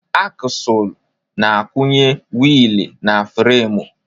Aksụl na-akwụnye wiili na fremu.